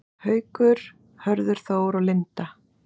Haukur, Hörður Þór og Linda.